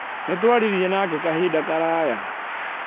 Nĩ twaririe nake kahinda karaya.